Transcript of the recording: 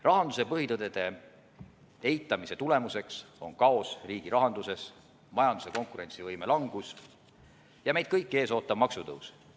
Rahanduse põhitõdede eitamise tagajärg on kaos riigi rahanduses, majanduse konkurentsivõime langus ja meid kõiki ees ootav maksutõus.